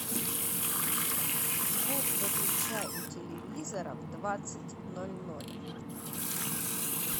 звук выключай у телевизора в двадцать ноль ноль